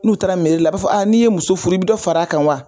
N'u taara a b'a fɔ n'i ye muso furu, i bi dɔ fara kan wa ?